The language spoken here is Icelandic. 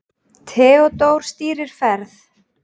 Theódór stýrir ferð.